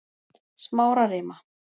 Smárarima